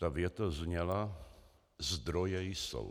Ta věta zněla: Zdroje jsou.